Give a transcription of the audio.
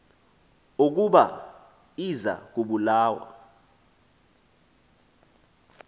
ukuba iza kubulawa